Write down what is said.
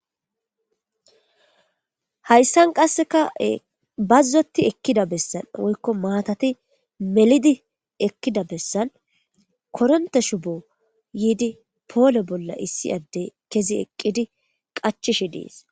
hayssan qasseka bazzoti ekkida bessan woykko maatati melidi ekkida bessan koronte shubo yiidi poole bolla issi addey kezi eqqidi qachishi dees